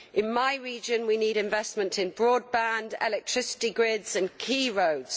In my region we need investment in broadband, electricity grids and key roads.